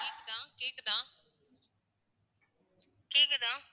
கேக்குதா? கேக்குதா? கேக்குதா?